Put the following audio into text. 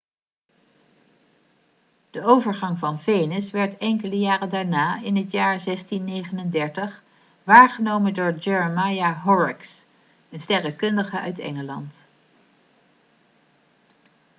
de overgang van venus werd enkele jaren daarna in het jaar 1639 waargenomen door jeremiah horrocks een sterrenkundige uit engeland